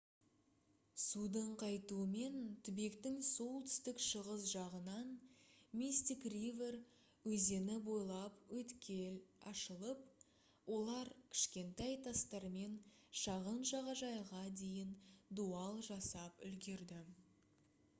судың қайтуымен түбектің солтүстік-шығыс жағынан мистик ривер өзені бойлап өткел ашылып олар кішкентай тастармен шағын жағажайға дейін дуал жасап үлгерді